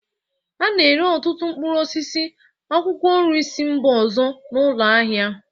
A n'ere ọtụtụ mkpụrụ osisi, akwụkwọ nri si mba ọzọ n'ụlọ ahịa